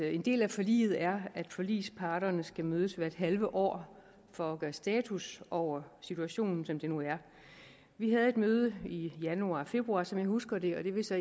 en del af forliget er at forligsparterne skal mødes hvert halve år for at gøre status over situationen som den nu er vi havde et møde i januar februar som jeg husker det og det vil så